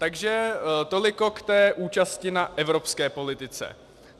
Takže toliko k té účasti na evropské politice.